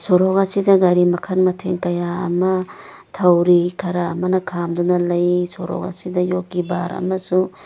ꯁꯣꯔꯣꯛ ꯑꯁꯤꯗ ꯒꯥꯔꯤ ꯃꯈꯜ ꯃꯊꯦꯜ ꯀꯌꯥ ꯑꯃ ꯊꯧꯔꯤ ꯈꯔ ꯑꯃꯅ ꯈꯝꯗꯨꯅ ꯂꯩ ꯁꯣꯔꯣꯛ ꯑꯁꯤꯗ ꯌꯣꯠꯀꯤ ꯕꯥꯔ ꯑꯃꯁꯨ --